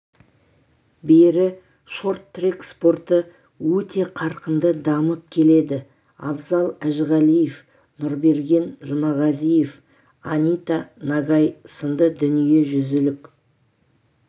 бері шорт-трек спорты өте қарқынды дамып келеді абзал әжіғалиев нұрберген жұмағазиев анита нагай сынды дүниежүзілік